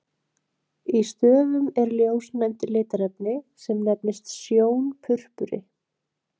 Í stöfum er ljósnæmt litarefni, sem nefnist sjónpurpuri.